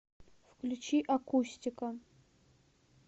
включи акустика